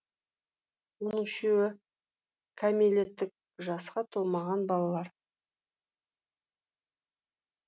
оның үшеуі кәмелеттік жасқа толмаған балалар